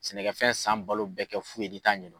Sɛnɛkɛfɛn san balo bɛɛ kɛ fu ye n'i t'a ɲɛdɔn.